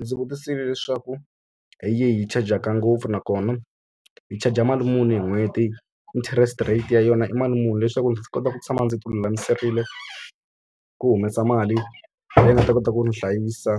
Ndzi vutisile leswaku hi yihi yi chajaka ngopfu nakona yi chaja mali muni hi n'hweti? Interest rate ya yona i mali muni? Leswaku ndzi kota ku tshama ndzi ti lulamiserile ku humesa mali leyi nga ta kota ku ni hlayisa